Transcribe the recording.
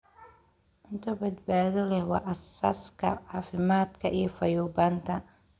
Cunto badbaado leh waa aasaaska caafimaadka iyo fayoobaanta.